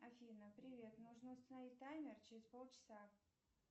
афина привет нужно установить таймер через полчаса